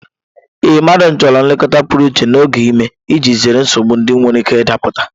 Ee, mmadụ chọrọ nlekọta pụrụ iche n'oge ime iji zere nsogbu ndị nwere ike ịda pụta.